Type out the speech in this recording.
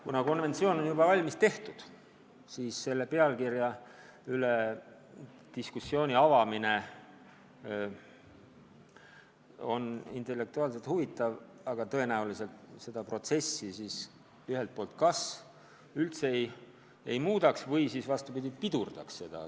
Kuna konventsioon on sellise pealkirjaga juba olemas, siis pealkirja üle diskussiooni avamine oleks intellektuaalselt huvitav, aga tõenäoliselt see seda protsessi ei muudaks või siis hoopis pidurdaks seda.